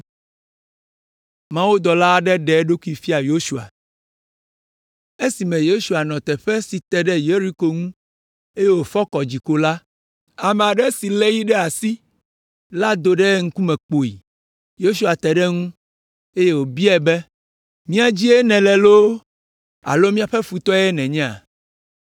Esime Yosua nɔ teƒe si te ɖe Yeriko ŋu, eye wòfɔ kɔ dzi ko la, ame aɖe si lé yi ɖe asi la do ɖe eŋkume kpoyi! Yosua te ɖe eŋu, eye wòbiae be, “Mía dzie nèle loo alo míaƒe futɔe nènye?”